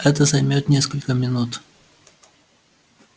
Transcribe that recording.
это займёт несколько минут